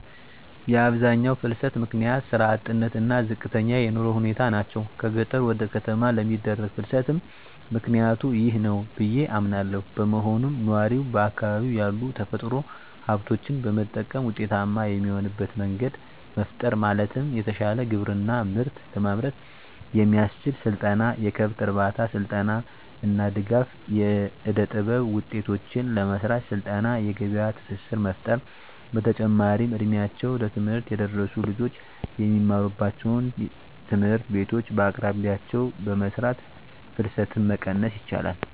የአብዛኛው ፍልሰት ምክንያት ስራ አጥነት እና ዝቅተኛ የኑሮ ሁኔታ ናቸው። ከገጠር ወደ ከተማ ለሚደረግ ፍልስትም ምክኒያቱ ይህ ነው ብዬ አምናለው። በመሆኑም ነዋሪው በአካባቢው ያሉ የተፈጥሮ ሀብቶችን በመጠቀም ውጤታማ የሚሆንበት መንገድ መፍጠር ማለትም የተሻለ ግብርና ምርት ለማምረት የሚያስችል ስልጠና፣ የከብት እርባታ ስልጠና እና ድጋፍ. ፣ የእደጥበብ ውጤቶችን ለመሰራት ስልጠና የገበያ ትስስር መፍጠር። በተጨማሪም እ ድሜያቸው ለትምህርት የደረሱ ልጆች የሚማሩባቸውን ትምህርት ቤቶች በየአቅራቢያቸው በመስራት ፍልሰትን መቀነስ ይቻላል።